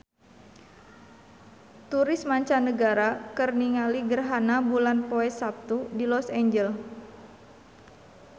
Turis mancanagara keur ningali gerhana bulan poe Saptu di Los Angeles